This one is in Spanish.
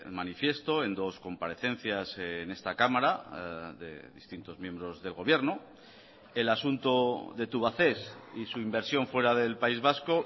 manifiesto en dos comparecencias en esta cámara de distintos miembros del gobierno el asunto de tubacex y su inversión fuera del país vasco